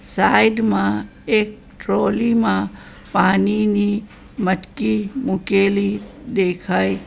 side માં એક trolley માં પાણીની મટકી મૂકેલી દેખાય --